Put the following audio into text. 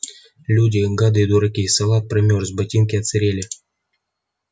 люди гады и дураки салат промёрз ботинки отсырели